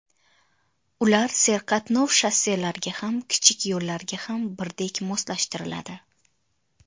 Ular serqatnov shosselarga ham, kichik yo‘llarga ham birdek moslashtiriladi.